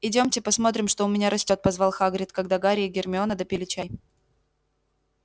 идёмте посмотрим что у меня растёт позвал хагрид когда гарри и гермиона допили чай